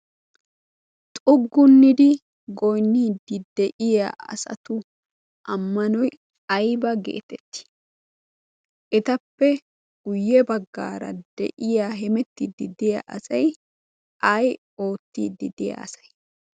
xuggunnidi goiniiddi de7iya asatu ammanoi aiba geetettii? etappe guyye baggaara de7iya hemettiiddi deya asai ai oottiiddi de7a asai?